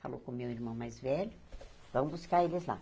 Falou com o meu irmão mais velho, vamos buscar eles lá.